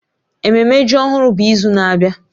Ememme ji ọhụrụ bụ izu na-abịa